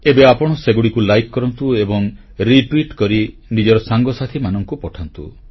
ଏବେ ଆପଣ ସେଗୁଡ଼ିକୁ ଲାଇକ୍ କରନ୍ତୁ ଏବଂ ରିଟ୍ୱିଟ୍ କରି ନିଜର ସାଙ୍ଗସାଥୀମାନଙ୍କୁ ପଠାନ୍ତୁ